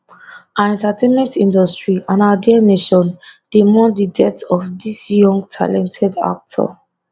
our entertainment industry and our dear nation dey mourn di death of dis young talented actor